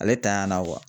Ale tanyana